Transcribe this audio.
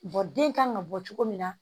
den kan ka bɔ cogo min na